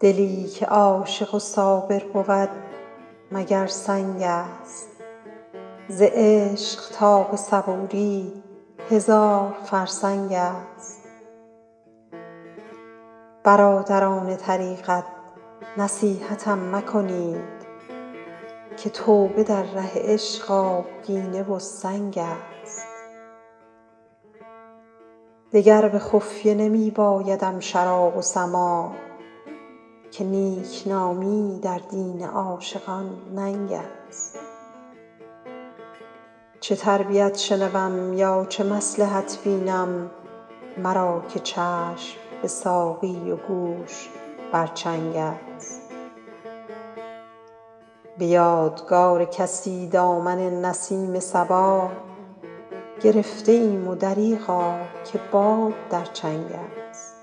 دلی که عاشق و صابر بود مگر سنگ است ز عشق تا به صبوری هزار فرسنگ است برادران طریقت نصیحتم مکنید که توبه در ره عشق آبگینه بر سنگ است دگر به خفیه نمی بایدم شراب و سماع که نیکنامی در دین عاشقان ننگ است چه تربیت شنوم یا چه مصلحت بینم مرا که چشم به ساقی و گوش بر چنگ است به یادگار کسی دامن نسیم صبا گرفته ایم و دریغا که باد در چنگ است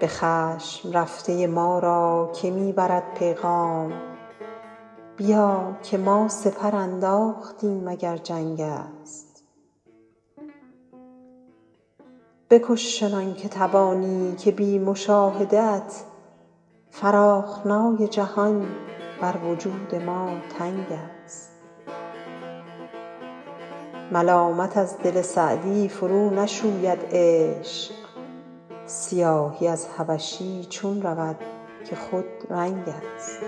به خشم رفته ما را که می برد پیغام بیا که ما سپر انداختیم اگر جنگ است بکش چنان که توانی که بی مشاهده ات فراخنای جهان بر وجود ما تنگ است ملامت از دل سعدی فرونشوید عشق سیاهی از حبشی چون رود که خودرنگ است